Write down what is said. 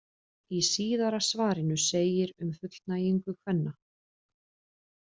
Í síðara svarinu segir um fullnægingu kvenna: